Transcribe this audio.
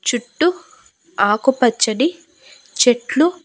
చుట్టూ ఆకు పచ్చడి చెట్లు--